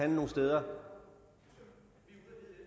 nogen steder